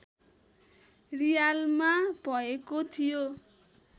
रियालमा भएको थियो